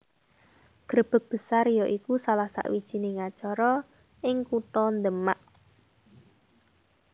Grebeg Besar ya iku salah sawijining acara ing kutha Demak